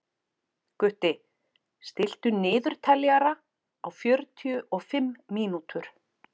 Gutti, stilltu niðurteljara á fjörutíu og fimm mínútur.